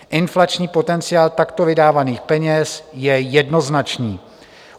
Inflační potenciál takto vydávaných peněz je jednoznačný.